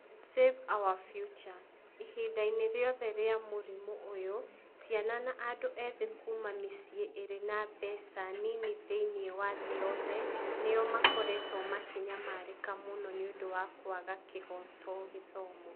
Save Our Future - ihinda-inĩ rĩothe rĩa mũrimũ ũyũ, ciana na andũ ethĩ kuuma mĩciĩ ĩrĩ na mbeca nini thĩinĩ wa thĩ yothe nĩo makoretwo makĩnyamarĩka mũno nĩ ũndũ wa kwaga kĩhooto gĩthomo.